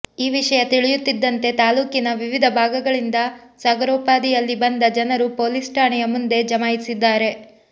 ಈ ವಿಷಯ ತಿಳಿಯುತ್ತಿದ್ದಂತೆ ತಾಲ್ಲೂಕಿನ ವಿವಿಧ ಭಾಗಗಳಿಂದ ಸಾಗರೋಪಾದಿಯಲ್ಲಿ ಬಂದ ಜನರು ಪೊಲೀಸ್ ಠಾಣೆಯ ಮುಂದೆ ಜಮಾಯಿಸಿದ್ದಾರೆ